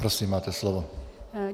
Prosím, máte slovo.